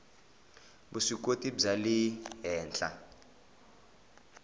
vuswikoti bya le henhla